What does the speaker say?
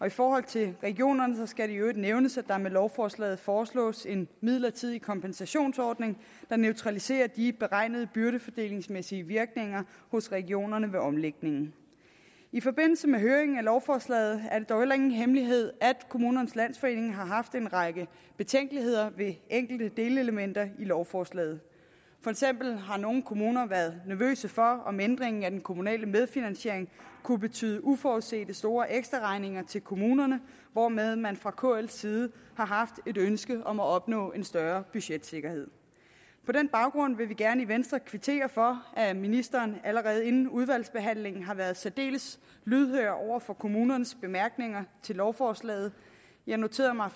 i forhold til regionerne skal det i øvrigt nævnes at der med lovforslaget foreslås en midlertidig kompensationsordning der neutraliserer de beregnede byrdefordelingsmæssige virkninger hos regionerne ved omlægningen i forbindelse med høringen af lovforslaget er det dog heller ingen hemmelighed at kommunernes landsforening har haft en række betænkeligheder ved enkelte delelementer i lovforslaget for eksempel har nogle kommuner været nervøse for om ændringen af den kommunale medfinansiering kunne betyde uforudsete store ekstraregninger til kommunerne hvormed man fra kl’s side har haft et ønske om at opnå en større budgetsikkerhed på den baggrund vil vi gerne i venstre kvittere for at ministeren allerede inden udvalgsbehandlingen har været særdeles lydhør over for kommunernes bemærkninger til lovforslaget jeg noterede mig